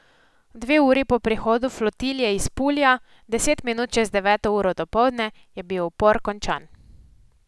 Dve uri po prihodu flotilje iz Pulja, deset minut čez deveto uro dopoldne, je bil upor končan.